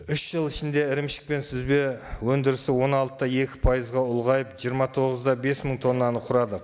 үш жыл ішінде ірімшік пен сүзбе өндірісі он алты да екі пайызға ұлғайып жиырма тоғыз да бес мың тонанны құрады